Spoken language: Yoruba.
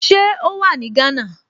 Ṣé ó wà ní Gánà?